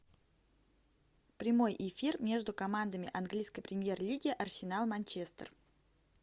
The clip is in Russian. прямой эфир между командами английской премьер лиги арсенал манчестер